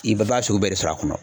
I bɛ b'a sugu bɛɛ de sɔr'a kɔnɔ.